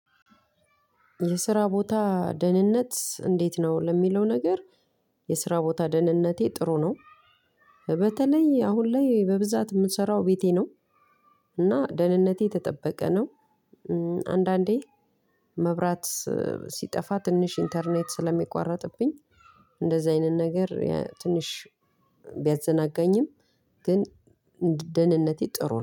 የስራ ቦታ ደህንነት እንዴት ነው? ለሚለው ነገር የስራ ቦታ ደህንነቴ ጥሩ ነው። በተለይ አሁን ላይ በብዛት ምሰራው ቤቴ ነው። እና ደህንነቴ የተጠበቀ ነው። አንዳንዴ መብራት ሲጠፋ ትንሽ ኢንተርኔት ስለሚቋረጥብኝ እንደዚህ አይነት ነገር ትንሽ ቢያዘናጋኝም ግን ደህንነቴ ጥሩ ነው።